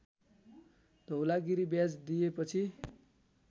धौलागिरी ब्याज दिएपछि